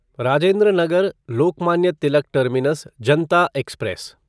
Rajendra Nagar Lokmanya Tilak terminus Janata express